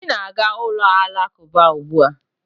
Obi na-aga ụlọ Alakụba ugbua